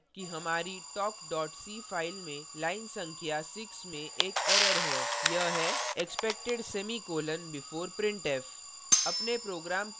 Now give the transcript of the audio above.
हम देखते हैं कि हमारी talk c file में line संख्या 6 में एक error है यह है expected semicolon before printf